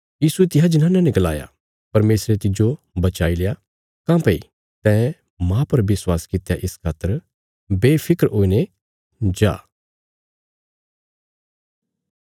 यीशुये तिसा जनाना ने गलाया परमेशरे तिज्जो बचाईल्या काँह्भई तैं माह पर विश्वास कित्या इस खातर बेफिक्र हुईने जा